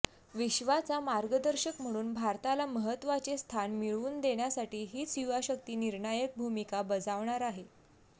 विश्वाचा मार्गदर्शक म्हणून भारताला महत्वाचे स्थान मिळवून देण्यासाठी हीच युवा शक्ती निर्णायक भूमिका बजावणार आहे